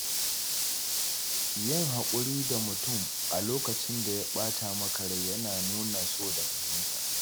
Yin haƙuri da mutum a lokacin da ya ɓata maka rai yana nuna so da fahimta.